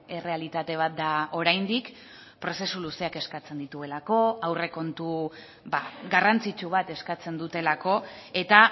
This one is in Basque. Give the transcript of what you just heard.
errealitate bat da oraindik prozesu luzeak eskatzen dituelako aurrekontu garrantzitsu bat eskatzen dutelako eta